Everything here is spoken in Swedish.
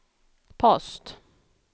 post